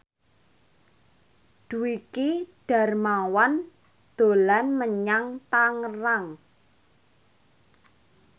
Dwiki Darmawan dolan menyang Tangerang